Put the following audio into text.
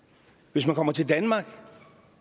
hvis man kommer til danmark